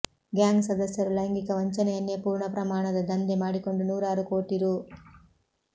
gang ಸದಸ್ಯರು ಲೈಂಗಿಕ ವಂಚನೆಯನ್ನೇ ಪೂರ್ಣ ಪ್ರಮಾಣದ ದಂಧೆ ಮಾಡಿಕೊಂಡು ನೂರಾರು ಕೋಟಿ ರೂ